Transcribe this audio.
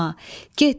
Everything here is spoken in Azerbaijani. Səlma.